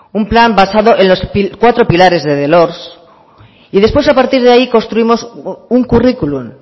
un plan grabazio akatsa y después a partir de ahí construimos un currículum